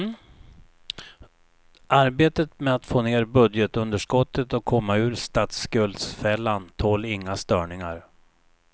Arbetet med att få ner budgetunderskottet och komma ur statsskuldsfällen tål inga störningar.